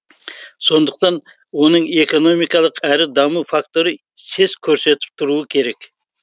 сондықтан оның экономикалық әрі даму факторы сес көрсетіп тұруы керек